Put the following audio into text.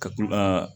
Ka ku a